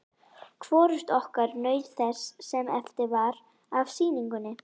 Hvorugt okkar naut þess sem eftir var af sýningunni.